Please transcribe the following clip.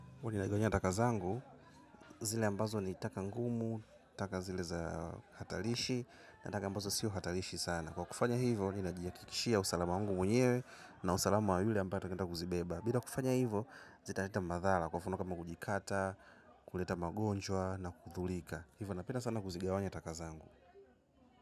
Kwa ninagawanya taka zangu, zile ambazo ni taka ngumu, taka zile za hatarishi, na taka ambazo sio hatarishi sana. Kwa kufanya hivyo, ninajihakikishia usalama wangu mwenyewe na usalama wa yule ambaye atakaye enda kuzibeba. Bila kufanya hivyo, zita leta madhara kwa mfano kama kujikata, kuleta magonjwa na kudhurika. Hivyo napenda sana kuzigawanya taka zangu.